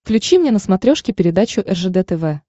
включи мне на смотрешке передачу ржд тв